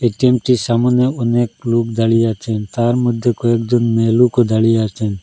ATM টির সামোনে অনেক লোক দাঁড়িয়ে আছেন তার মধ্যে কয়েকজন মেয়েলোকও দাঁড়িয়ে আছেন।